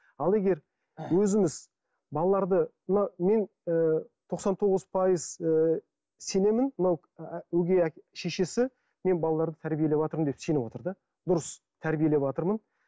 ал егер өзіңіз балаларды мына мен ы тоқсан тоғыз пайыз ы сенемін мынау өгей шешесі мен балаларды тәбиелеватырмын деп сеніп отыр да дұрыс тәрбиелеватырмын